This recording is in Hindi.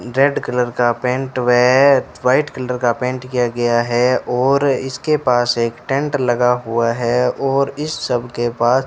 रेड कलर का पेंट हुए है व्हाइट कलर का पेंट किया गया है और इसके पास एक टेंट लगा हुआ है और इस सब के पास --